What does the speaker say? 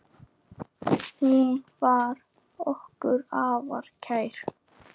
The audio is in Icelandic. Hún var okkur afar kær.